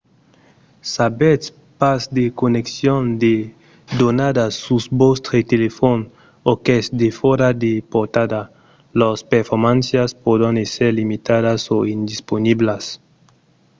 s'avètz pas de conneccion de donadas sus vòstre telefòn o qu'es defòra de portada lors performàncias pòdon èsser limitadas o indisponiblas